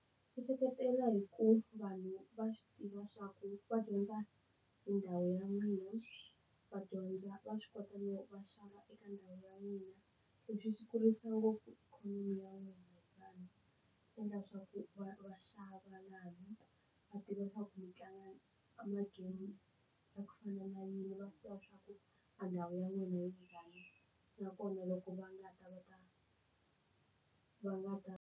Ndzi seketela hi ku vanhu va swi tiva swa ku va dyondza hi ndhawu ya mina va dyondza va swi kota no va xava eka ndhawu ya mina leswi swi kurisa ngopfu ikhonomi ya wehe khampani endla leswaku va va xava na vanhu va tiva swa ku u tlanga emagemi va ku fana na yini va tiva swaku a ndhawu ya n'wina yi njhani nakona loko va nga ta va ta va nga ta.